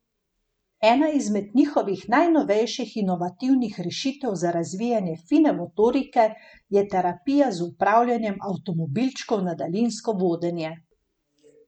Ena izmed njihovih najnovejših inovativnih rešitev za razvijanje fine motorike je terapija z upravljanjem avtomobilčkov na daljinsko vodenje.